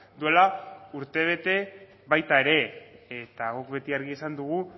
duela urtebete baita ere eta guk beti argi esan dugu